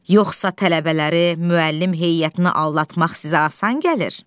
Yoxsa tələbələri, müəllim heyətini aldatmaq sizə asan gəlir?